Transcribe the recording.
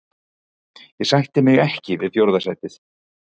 Ég sætti mig ekki við fjórða sætið.